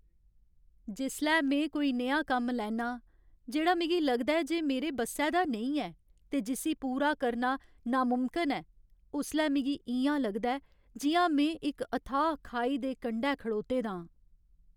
जिसलै में कोई नेहा कम्म लैन्नां जेह्ड़ा मिगी लगदा ऐ जे मेरे बस्सै दा नेईं ऐ ते जिस्सी पूरा करना नामुमकन ऐ उसलै मिगी इ'यां लगदा ऐ जि'यां में इक अथाह् खाई दे कंढै खड़ोते दा आं।